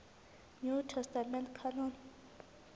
new testament canon